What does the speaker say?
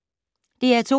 DR2